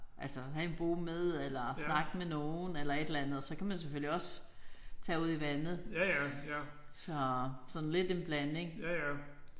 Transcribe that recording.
Altså have en bog med eller snakke med nogen eller et eller andet og så kan man selvfølgelig også tage ud i vandet. Så sådan lidt en blanding